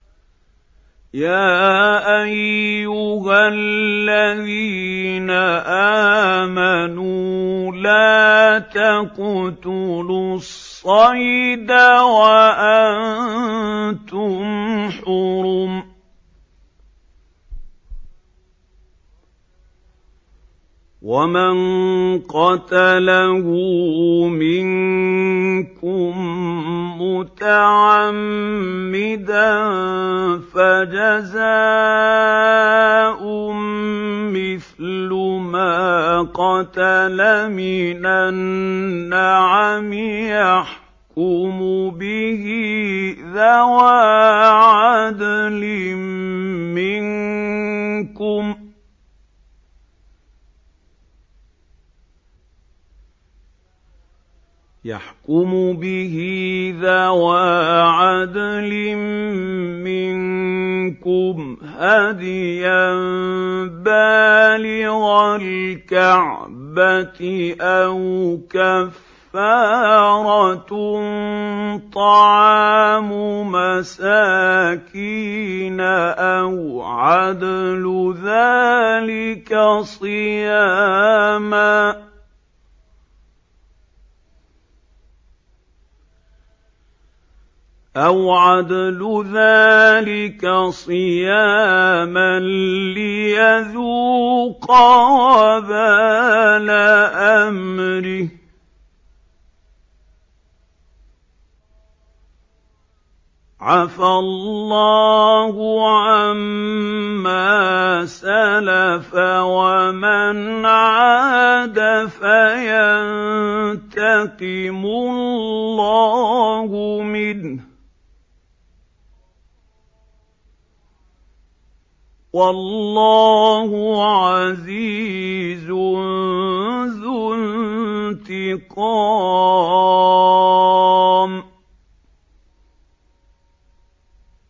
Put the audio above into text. يَا أَيُّهَا الَّذِينَ آمَنُوا لَا تَقْتُلُوا الصَّيْدَ وَأَنتُمْ حُرُمٌ ۚ وَمَن قَتَلَهُ مِنكُم مُّتَعَمِّدًا فَجَزَاءٌ مِّثْلُ مَا قَتَلَ مِنَ النَّعَمِ يَحْكُمُ بِهِ ذَوَا عَدْلٍ مِّنكُمْ هَدْيًا بَالِغَ الْكَعْبَةِ أَوْ كَفَّارَةٌ طَعَامُ مَسَاكِينَ أَوْ عَدْلُ ذَٰلِكَ صِيَامًا لِّيَذُوقَ وَبَالَ أَمْرِهِ ۗ عَفَا اللَّهُ عَمَّا سَلَفَ ۚ وَمَنْ عَادَ فَيَنتَقِمُ اللَّهُ مِنْهُ ۗ وَاللَّهُ عَزِيزٌ ذُو انتِقَامٍ